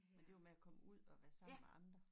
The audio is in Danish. Men det jo med at komme ud og være sammen med andre